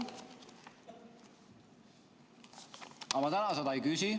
Aga ma täna seda ei küsi.